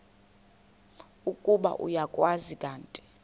ukuba uyakwazi kanti